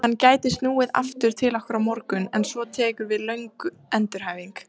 Hann gæti snúið aftur til okkar á morgun en svo tekur við löng endurhæfing.